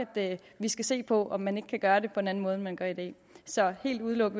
vi skal se på om man ikke kan gøre det på en anden måde end man gør i dag så helt udelukke